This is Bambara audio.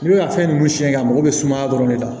N'i bɛ ka fɛn ninnu siyɛn ka mago bɛ sumaya dɔrɔn de la